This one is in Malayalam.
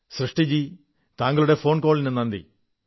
സൃഷ്ടിജീ താങ്കളുടെ ഫോൺകോളിന് നന്ദി